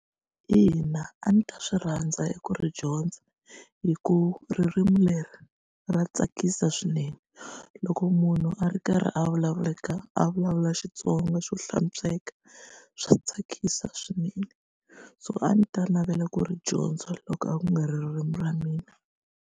Ina, a ndzi ta swi rhandza ku ri dyondza hikuva ririmi leri ra tsakisa swinene loko munhu a ri karhi a vulavulaka a vulavula Xitsonga xo hlantsweka swa tsakisa swinene so a ndzi ta navela ku ri dyondza loko a ku nga ri ririmi ra mina.